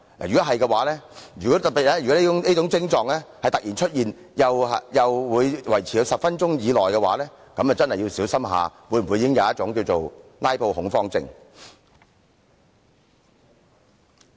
如果有以上徵狀，特別是如果突然出現以上徵狀，而又維持了10分鐘的話，便真的要小心是否已患上"拉布"恐慌症。